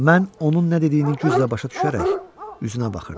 Mən onun nə dediyini güclə başa düşərək üzünə baxırdım.